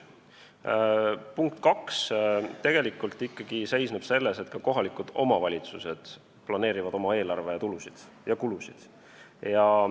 Teiseks, ka kohalikud omavalitsused planeerivad oma eelarve tulusid ja kulusid.